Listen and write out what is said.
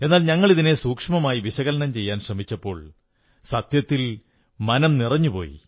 എന്നാൽ ഞങ്ങളിതിനെ സൂക്ഷ്മമായി വിശകലനം ചെയ്യാൻ ശ്രമിച്ചപ്പോൾ സത്യത്തിൽ മനം നിറഞ്ഞുപോയി